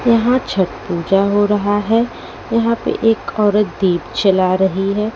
यहां छठ पूजा हो रहा है यहां पे एक औरत दीप चला रही है।